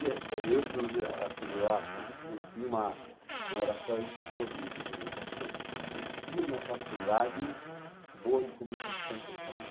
Eu acho isso, quer dizer, tinha uma oratória muito boa de de comunicação, eu tinha uma facilidade boa de comunicação com os